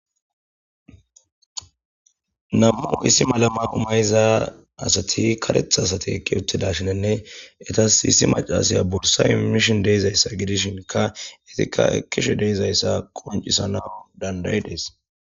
Nam'u issi malama umayiza asati karetha asati ekki uttida shinenne eta siissi macalasaya borsa imishin deizayssa gidishinka itikka ekishe deizayssa qoncisana dandayi dees.